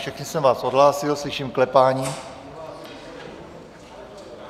Všechny jsem vás odhlásil, slyším klepání.